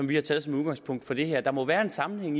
vi har taget som udgangspunkt for det her der må være en sammenhæng